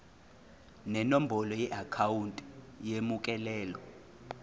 nenombolo yeakhawunti emukelayo